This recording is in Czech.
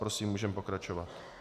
Prosím, můžeme pokračovat.